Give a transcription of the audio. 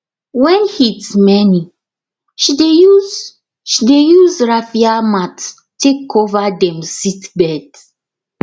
when heat many she dey use she dey use raffia mats take cover dem seedbeds